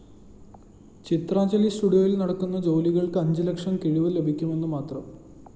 ചിത്രാഞ്ജലി സ്റ്റുഡിയോയില്‍ നടക്കുന്ന ജോലികള്‍ക്ക് അഞ്ച് ലക്ഷം കിഴിവ് ലഭിക്കുമെന്നുമാത്രം